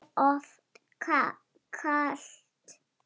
Er of kalt.